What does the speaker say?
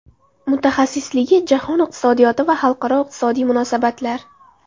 Mutaxassisligi Jahon iqtisodiyoti va xalqaro iqtisodiy munosabatlar.